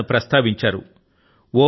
వేదాల ను ప్రస్తావించారు